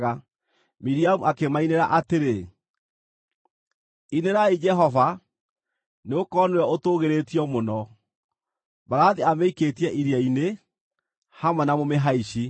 Miriamu akĩmainĩra atĩrĩ: “Inĩrai Jehova, nĩgũkorwo nĩwe ũtũũgĩrĩtio mũno. Mbarathi amĩikĩtie iria-inĩ, hamwe na mũmĩhaici.”